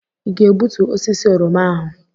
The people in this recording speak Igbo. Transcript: Ị ga-egbutu osisi oroma ahụ?